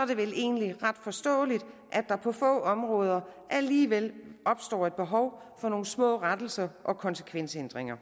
er det vel egentlig ret forståeligt at der på få områder alligevel opstår et behov for nogle små rettelser og konsekvensændringer